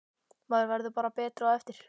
Maður verður bara betri á eftir.